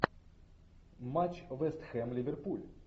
матч вест хэм ливерпуль